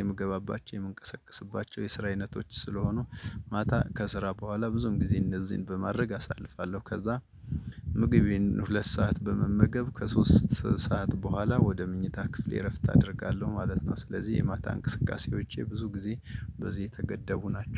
የምገባባቸው የምንቀሳቀስባቸው የስራ አይነቶች ስለሆኑ። ማታ ከስራ በኋላ ብዙም ጊዜ እነዚህን በማድረግ አሳልፋለሁ። ከዛ ምግቤን ሁለት ሰዓት በመመገብ ከሶስት ሰዓት በኋላ ወደ ምኞታ ክፍሌ እረፍት አደርጋለሁ ማለት ነው። ስለዚህ የማታ እንቅስቃሴዎቼ ብዙ ጊዜ በዚህ የተገደቡ ናቸው